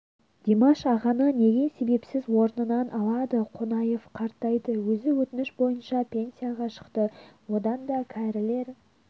димаш ағаны неге себепсіз орнынан алады қонаев қартайды өзі өтініш бойынша пенсияға шықты одан да кәрілер